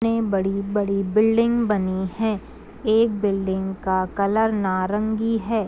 ने बड़ी-बड़ी बिल्डिंग बनी है। एक बिल्डिंग का कलर नारंगी है।